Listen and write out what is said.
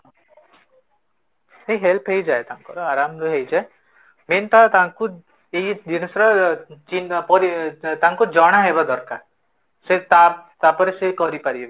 ନାଇଁ help ହେଇ ଯାଏ ତାଙ୍କର ଆରମ୍ଭ ରେ ହେଇ ଯାଏ main ତ ତାଙ୍କୁ ଏଇ ଜିନ୍ସର ତାଙ୍କୁ ଜଣା ରହିବ ଦରକାର ସେ ତା ତାପରେ ସେ କରି ପାରିବେ